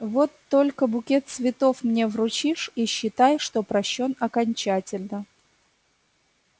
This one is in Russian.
вот только букет цветов мне вручишь и считай что прощён окончательно